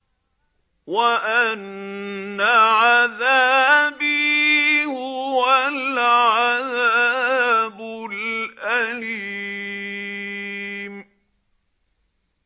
وَأَنَّ عَذَابِي هُوَ الْعَذَابُ الْأَلِيمُ